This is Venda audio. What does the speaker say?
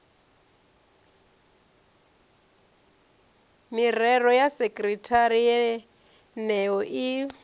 mirao ya sekithara yeneyo i